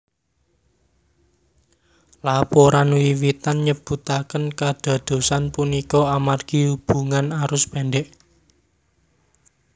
Laporan wiwitan nyebutaken kadadosan punika amargi hubungan arus pendek